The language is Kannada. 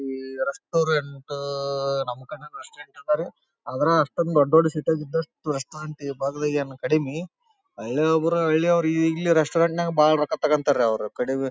ಈ ರೆಸ್ಟೋರೆಂಟ್ ನಮ್ ಕಡೆನೂ ರೆಸ್ಟೋರೆಂಟ್ ಆದರಿ ಅದರ ಅಷ್ಟೊಂದು ದೊಡ್ಡ್ ದೊಡ್ಡ್ ಸಿಟಿ ಯಗ್ ಇದಷ್ಟೂ ರೆಸ್ಟೋರೆಂಟ್ ಈ ಭಾಗದಗ್ ಕಡಿಮೆ ಹಳ್ಳಿ ಒಬ್ಬರೇ ಹಳ್ಳಿಯವರು ಈಗ್ಲೇ ರೆಸ್ಟೋರೆಂಟ್ ನಾಗ್ ಬಹಳ ರೊಕ್ಕ ತಗೊತ್ತಾರೆ ಅವರು ಕಡಿಮೆ --